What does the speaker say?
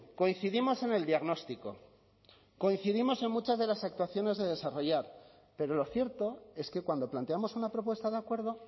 coincidimos en el diagnóstico coincidimos en muchas de las actuaciones de desarrollar pero lo cierto es que cuando planteamos una propuesta de acuerdo